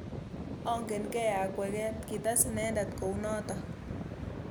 Ongenkei akweket. kites inendet kounotok.